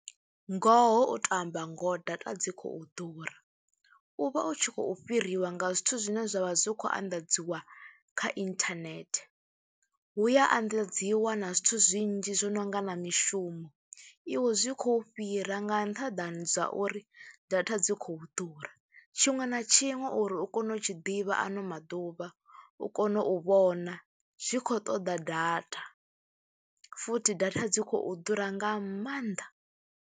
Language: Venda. Ngoho u tou amba ngoho data dzi khou ḓura, u vha u tshi khou fhiriwa nga zwithu zwine zwa vha zwi khou anḓadziwa kha inthanethe, hu ya anḓadziwa na zwithu zwinzhi zwo no nga na mishumo, iwe zwi khou fhira nga nṱhaḓani dza uri data dzi khou ḓura. Tshiṅwe na tshiṅwe uri u kone u tshi ḓivha ano maḓuvha, uri kone u vhona zwi khou ṱoḓa data, futhi data dzi khou ḓura nga maanḓa.